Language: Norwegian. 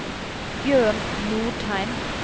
Bjørn Nordheim